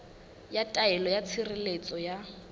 ya taelo ya tshireletso ya